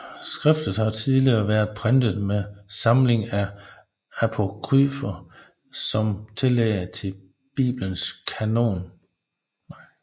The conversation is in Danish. Skriftet har tidligere været printet med samlingen af apokryfer som tillæg til Biblens kanon